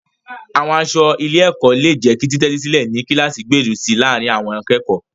Àwọn aṣọ ilé-ẹ̀kọ́ lè jẹ́ kí títẹ́tísílẹ̀ ní kíláàsì gbèrú si láàárín àwọn akẹ́kọ̀ọ́.